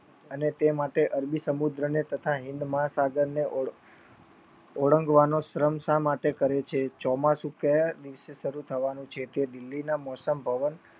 અને તે માટે અરબી સમુદ્રને તથા હિન્દ મહાસાગરને ઓળગવાનો શ્રમ શા માટે કરે છે ચોમાસુ ક્યાં દિવસે સારું થવાનું છે તે દિલ્હી ના મોષ્મ ભવન